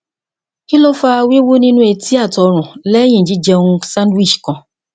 kini o fa wiwu ninu eti ati orun lẹhin ji jẹun sandwich kan